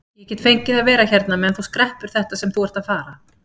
Ég get fengið að vera hérna meðan þú skreppur þetta sem þú ert að fara.